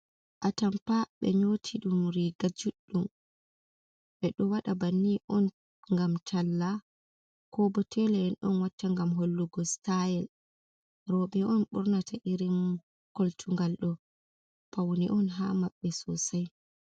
Atampa, ɓe nyoti ɗum Riga juɗɗum ɓe ɗo wada banni on ngam ralla, ko bo tela en on watta ngam hollugo stayel roɓe on bornata irin koltungal ɗo, pauni on ha maɓɓe sosai.